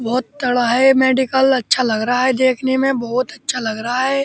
बहोत तगड़ा है ये मेडिकल अच्छा लग रहा है देखने में बहुत अच्छा लग रहा है ये।